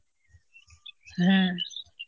হ্যাঁ.